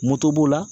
Moto b'o la